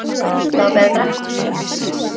Þetta var betra.